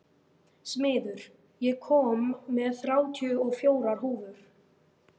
Smiður, ég kom með þrjátíu og fjórar húfur!